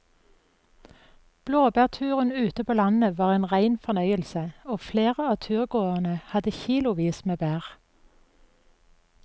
Blåbærturen ute på landet var en rein fornøyelse og flere av turgåerene hadde kilosvis med bær.